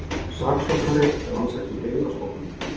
Saksóknari rannsaki Byggðastofnun